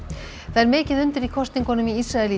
það er mikið undir í kosningunum í Ísrael í